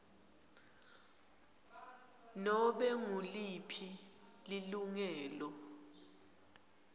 nobe nguliphi lilungelo